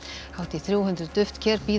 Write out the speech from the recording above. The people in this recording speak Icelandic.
hátt í þrjú hundruð duftker bíða